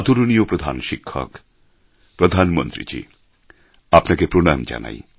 আদরণীয় প্রধান শিক্ষক প্রধান মন্ত্রীজি আপনাকে প্রণাম জানাই